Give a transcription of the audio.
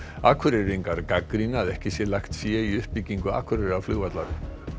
Akureyringar gagnrýna að ekki sé lagt fé í uppbyggingu Akureyrarflugvallar